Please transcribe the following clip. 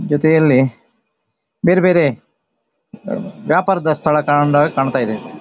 ಜೊತೆಯಲ್ಲಿ ಬೇರೆ ಬೇರೆ ವ್ಯಾಪಾರದ ಸ್ಥಳ ಕಾಣತ್ತಾಯಿದೆ .